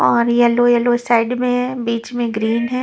और yellow yellow side में है बीच में ग्रीन है।